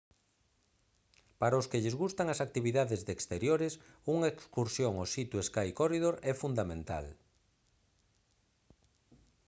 para os que lles gustan as actividades de exteriores unha excursión ao sea to sky corridor é fundamental